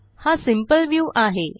हा simple view आहे